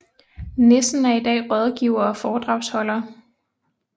Nissen er i dag rådgiver og foredragsholder